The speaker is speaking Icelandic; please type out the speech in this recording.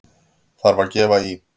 Þarf að gefa í!